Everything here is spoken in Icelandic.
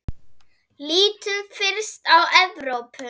Lítum fyrst á Evrópu.